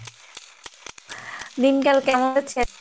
তো দিনকাল কেমন যাচ্ছে?